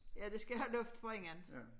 Ja det skal have luft forinden